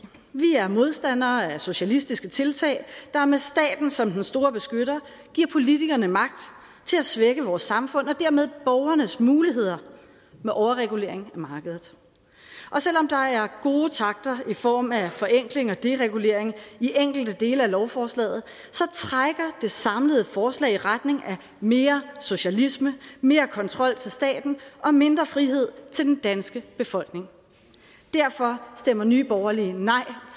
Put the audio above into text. vi er modstandere af socialistiske tiltag der med staten som den store beskytter giver politikerne magt til at svække vores samfund og dermed borgernes muligheder med overregulering af markedet og selv om der er gode takter i form af forenkling og deregulering i enkelte dele af lovforslaget trækker det samlede forslag i retning af mere socialisme mere kontrol til staten og mindre frihed til den danske befolkning derfor stemmer nye borgerlige nej